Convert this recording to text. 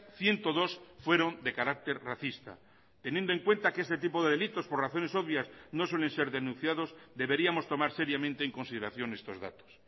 ciento dos fueron de carácter racista teniendo en cuenta que este tipo de delitos por razones obvias no suelen ser denunciados deberíamos tomar seriamente en consideración estos datos